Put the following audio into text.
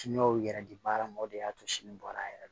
Siniwaw yɛrɛ di baara ma o de y'a to sini bɔra a yɛrɛ ye